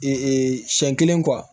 Ee siɲɛ kelen